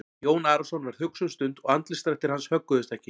Jón Arason varð hugsi um stund og andlitsdrættir hans högguðust ekki.